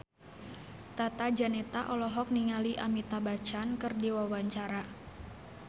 Tata Janeta olohok ningali Amitabh Bachchan keur diwawancara